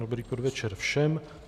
Dobrý podvečer všem.